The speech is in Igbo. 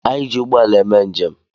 Ana eji ụgbọala eme njem.